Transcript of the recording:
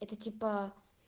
это типа